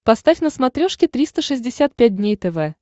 поставь на смотрешке триста шестьдесят пять дней тв